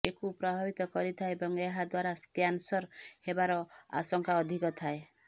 ଏ କୁ ପ୍ରଭାବିତ କରିଥାଏ ଏବଂ ଏହା ଦ୍ୱାରା କ୍ୟାନ୍ସର ହେବାର ଆଶକାଂ ଅଧୀକ ଥାଏ